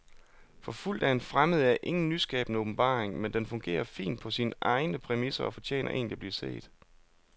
Forfulgt af en fremmed er ingen nyskabende åbenbaring, men den fungerer fint på sine egne præmisser og fortjener egentlig at blive set.